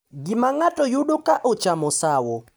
Gima ng’ato yudo ka ochamo sawo